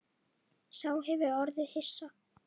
Sá hefur orðið hissa